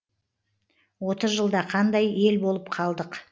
отыз жылда қандай ел болып қалдық